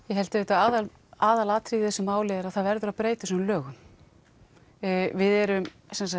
ég held að aðalatriðið í þessu máli er að það verður að breyta þessum lögum við erum